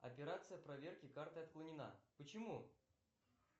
операция проверки карты отклонена почему